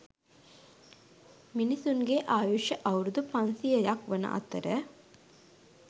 මිනිසුන්ගේ ආයුෂ අවුරුදු පන්සියයක් වන අතර